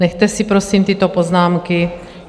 Nechte si prosím tyto poznámky.